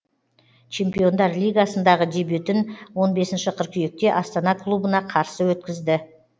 чемпиондар лигасындағы дебютін он бесінші қыркүйекте астана клубына қарсы өткізді